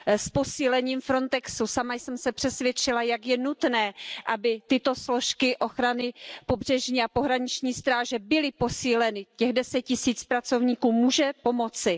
S posílením Frontexu sama jsem se přesvědčila, jak je nutné, aby tyto složky ochrany pobřežní a pohraniční stráže byly posíleny, těch 10 tisíc pracovníků může pomoci.